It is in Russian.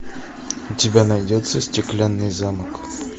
у тебя найдется стеклянный замок